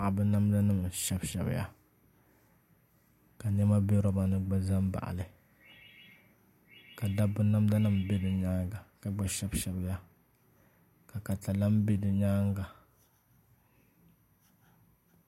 Paɣaba namda nim n shɛbi shɛbiya ka niɛma bɛ roba ni gba ʒɛ n baɣali ka dabba namda nim bɛ di nyaanga ka gba shɛbi shɛbi ya ka katalɛm bɛ di nyaanga